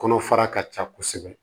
Kɔnɔ fara ka ca kosɛbɛ